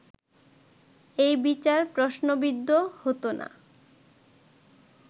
এই বিচার প্রশ্নবিদ্ধ হতো না